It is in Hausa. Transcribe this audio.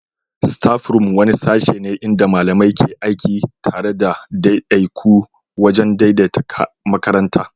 Staffroom wani sashe ne inda malamai ke aiki tare da ɗaiɗaiku wajen daidaita makarantar.